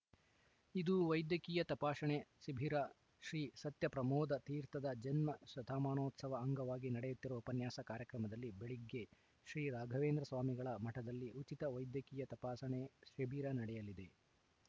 ಇಂದು ವೈದ್ಯಕೀಯ ತಪಾಸಣೆ ಶಿಬಿರ ಶ್ರೀ ಸತ್ಯಪ್ರಮೋದತೀರ್ಥದ ಜನ್ಮ ಶತಮಾನೋತ್ಸವ ಅಂಗವಾಗಿ ನಡೆಯುತ್ತಿರುವ ಉಪನ್ಯಾಸ ಕಾರ್ಯಕ್ರಮದಲ್ಲಿ ಬೆಳಿಗ್ಗೆ ಶ್ರೀರಾಘವೇಂದ್ರ ಸ್ವಾಮಿಗಳ ಮಠದಲ್ಲಿ ಉಚಿತ ವೈದ್ಯಕೀಯ ತಪಾಸಣೆ ಶಿಬಿರ ನಡೆಯಲಿದೆ